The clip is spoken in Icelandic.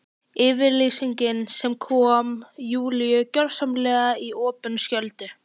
Yfirlýsing sem kom Júlíu gjörsamlega í opna skjöldu.